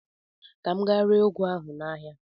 Ka m gaa ree ụgụ ahụ n'ahịa.